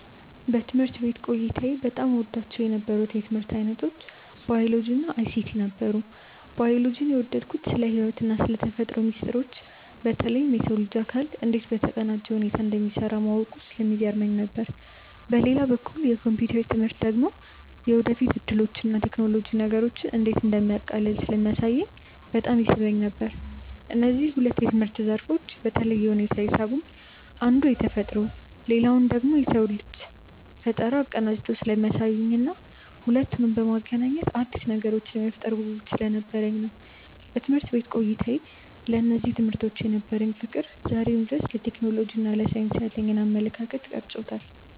በትምህርት ቤት ቆይታዬ በጣም እወዳቸው የነበሩት የትምህርት ዓይነቶች ባዮሎጂ እና አይሲቲ ነበሩ። ባዮሎጂን የወደድኩት ስለ ሕይወትና ስለ ተፈጥሮ ሚስጥሮች በተለይም የሰው ልጅ አካል እንዴት በተቀናጀ ሁኔታ እንደሚሠራ ማወቁ ስለሚገርመኝ ነው። በሌላ በኩል የኮምፒውተር ትምህርት ደግሞ የወደፊት ዕድሎችንና ቴክኖሎጂ ነገሮችን እንዴት እንደሚያቃልል ስለሚያሳየኝ በጣም ይስበኝ ነበር። እነዚህ ሁለት የትምህርት ዘርፎች በተለየ ሁኔታ የሳቡኝ አንዱ ተፈጥሮን ሌላኛው ደግሞ የሰውን ልጅ ፈጠራ አቀናጅተው ስለሚያሳዩኝና ሁለቱንም በማገናኘት አዳዲስ ነገሮችን የመፍጠር ጉጉት ስለነበረኝ ነው። በትምህርት ቤት ቆይታዬ ለእነዚህ ትምህርቶች የነበረኝ ፍቅር ዛሬም ድረስ ለቴክኖሎጂና ለሳይንስ ያለኝን አመለካከት ቀርጾታል።